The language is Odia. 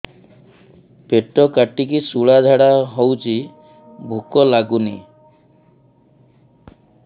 ପେଟ କାଟିକି ଶୂଳା ଝାଡ଼ା ହଉଚି ଭୁକ ଲାଗୁନି